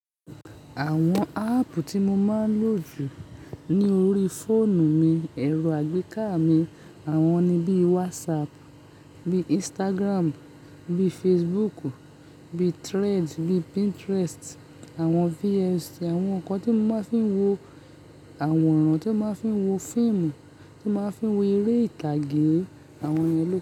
Àwọn app tí mo máa ń lò jù ní orí fóònù mi, ẹ̀rọ àgbéká mi, àwọn ni bí WhatsApp, bí Instagram, bí Facebook, bí Threads, bí Pinterest, àwọn VFC, àwọn nǹkan tí mo máa ń fi ń wo àwọn ọ̀ràn, tí màá ń fi ń wo film, tí màá ń fi ń wo eré ìtàgé, àwọn ìlẹ́ náà.